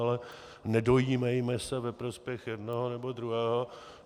Ale nedojímejme se ve prospěch jednoho nebo druhého.